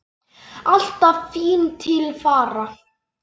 Alltaf fín til fara.